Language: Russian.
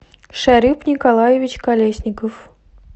шарип николаевич колесников